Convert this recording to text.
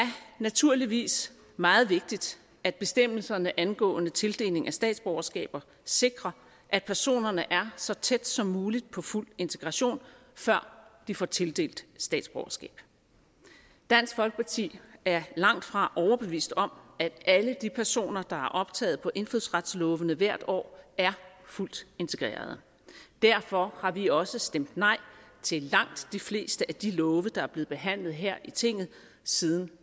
naturligvis meget vigtigt at bestemmelserne angående tildeling af statsborgerskaber sikrer at personerne er så tæt som muligt på fuld integration før de får tildelt statsborgerskab dansk folkeparti er langtfra overbevist om at alle de personer der er optaget på indfødsretsloven hvert år er fuldt integrerede derfor har vi også stemt nej til langt de fleste af de love der er blevet behandlet her i tinget side